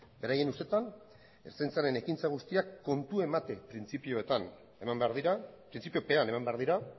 beraien ustetan ertzaintzaren ekintza guztiak kontu emate printzipiopean eman behar dira